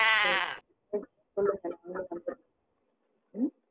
சரி சொல்லுங்க உங்கள நம்புறேன். ஹம்